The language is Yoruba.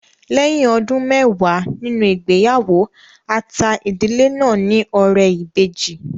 Lẹ́yìn ọdún mẹwàá nínú ìgbéyàwó, a ta ìdílé náà ní ọrẹ ìbejì